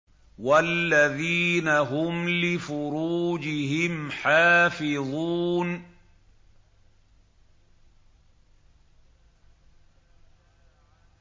وَالَّذِينَ هُمْ لِفُرُوجِهِمْ حَافِظُونَ